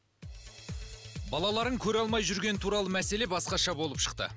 балаларын көре алмай жүргені туралы мәселе басқаша болып шықты